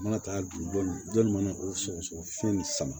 U mana taa dugu dɔ mana o sɔgɔsɔgɔ fiɲɛ nin sama